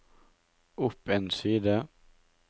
opp en side